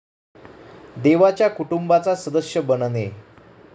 देवाच्या कुटुंबाचा सदस्य बनणे